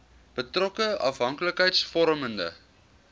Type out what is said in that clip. betrokke afhanklikheids vormende